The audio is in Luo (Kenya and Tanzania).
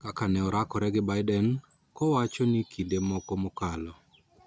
Kaka ne orakore gi Biden kowacho ni kinde moko mokalo